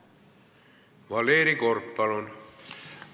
Valeri Korb, palun!